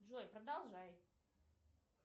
джой продолжай